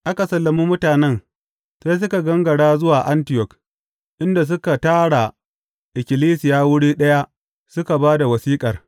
Aka sallami mutanen sai suka gangara zuwa Antiyok, inda suka tara ikkilisiya wuri ɗaya suka ba da wasiƙar.